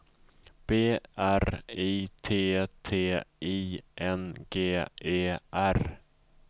B R I T T I N G E R